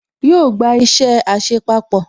Yóò gba isẹ àṣepapọ̀